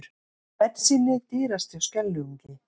Bensínið dýrast hjá Skeljungi